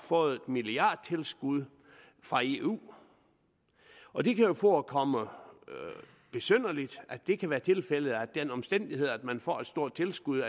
fået et milliardtilskud fra eu og det kan jo forekomme besynderligt at det kan være tilfældet at den omstændighed at man får et stort tilskud